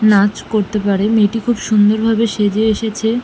নাচ করতে পারে মেয়েটি খুব সুন্দর ভাবে সেজে এসেছে।